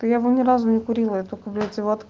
я его ни разу не курила и его только блять от